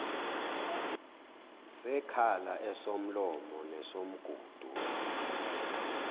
sekhala esomlomo nesomgudu